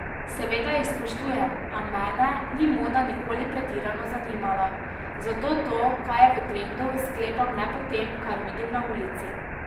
Seveda jih spoštujem, a mene ni moda nikoli pretirano zanimala, zato to, kaj je v trendu, sklepam le po tem, kar vidim na ulici.